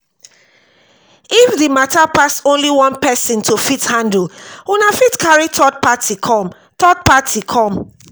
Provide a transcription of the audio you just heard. if di matter pass only one person to fit handle una fit carry third party come third party come